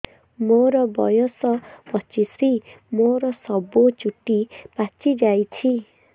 ମୋର ବୟସ ପଚିଶି ମୋର ସବୁ ଚୁଟି ପାଚି ଯାଇଛି